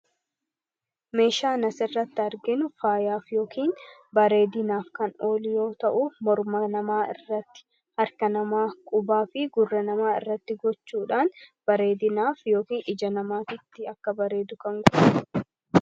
meeshaa nas irratti arginu faayaaf yookiin bareedinaaf kan olyoo ta'u morma namaa irratti harka namaa qubaa fi gurre namaa irratti gochuudhaan bareedinaaf yookiin ija namaatitti akka baree dukan gurre